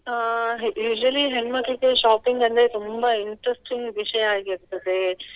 ಅಹ್ usually ಹೆಣ್ಮಕ್ಳಿಗೆ shopping ಅಂದ್ರೆ ತುಂಬಾ interesting ವಿಷಯ ಆಗಿರ್ತದೆ.